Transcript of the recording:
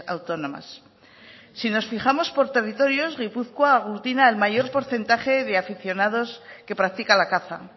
autónomas si nos fijamos por territorios gipuzkoa aglutina el mayor porcentaje de aficionados que practica la caza